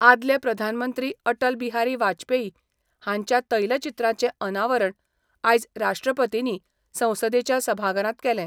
आदले प्रधानमंत्री अटल बिहारी वाजपेयी हांच्या तैलचित्रांचें अनावरण आयज राष्ट्रपतींनी संसदेच्या सभाघरांत केलें.